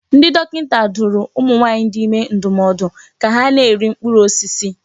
Ndị dọkịta dụrụ ụmụ nwaanyị dị ime ndụmọdụ ka ha na-eri mkpụrụ osisi.